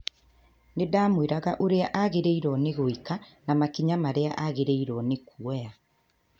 "Nĩ ndamwĩraga ũrĩa agĩrĩirũo nĩ gwĩka na makinya marĩa agĩrĩirũo nĩ kuoya.